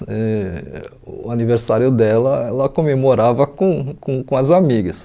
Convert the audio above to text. Ãh o aniversário dela, ela comemorava com com com as amigas.